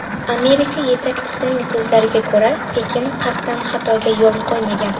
Amerika yetakchisining so‘zlariga ko‘ra, Pekin qasddan xatoga yo‘l qo‘ymagan.